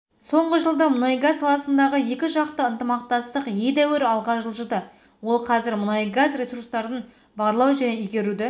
соңғы жылда мұнайгаз саласындағы екіжақты ынтымақтастық едәуір алға жылжыды ол қазір мұнайгаз ресурстарын барлау және игеруді